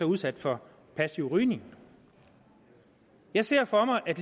udsat for passiv rygning jeg ser for mig at